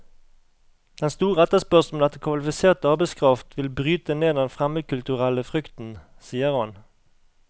Den store etterspørselen etter kvalifisert arbeidskraft vil bryte ned den fremmedkulturelle frykten, sier han.